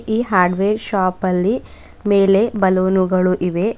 ಈ hardware shop ಅಲ್ಲಿ ಮೇಲೆ ಬಲೂನುಗಳು ಇವೆ.